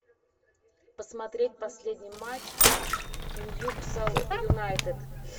посмотреть последний матч ньюкасл юнайтед